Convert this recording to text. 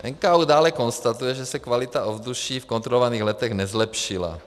NKÚ dále konstatuje, že se kvalita ovzduší v kontrolovaných letech nezlepšila.